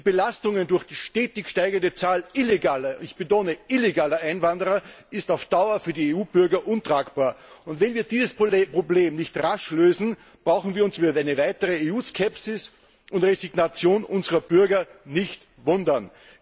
Die Belastungen durch die stetig steigende Zahl illegaler ich betone illegaler Einwanderer, sind auf Dauer für die EU Bürger untragbar. Und wenn wir dieses Problem nicht rasch lösen, brauchen wir uns über eine wachsende EU Skepsis und Resignation unserer Bürger nicht zu wundern.